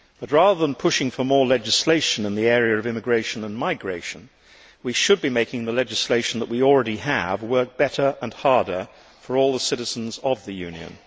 Rather than pushing for more legislation in the area of immigration and migration, we should be making the legislation that we already have work better and harder for all the citizens of the Union.